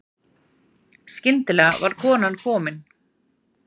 Skyndilega var konan komin.